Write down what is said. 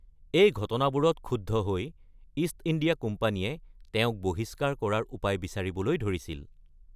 এই ঘটনাবোৰত ক্ষুব্ধ হৈ ইষ্ট ইণ্ডিয়া কোম্পানীয়ে তেওঁক বহিষ্কাৰ কৰাৰ উপায় বিচাৰিবলৈ ধৰিছিল।